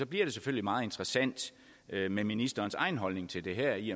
bliver det selvfølgelig meget interessant med ministerens egen holdning til det her i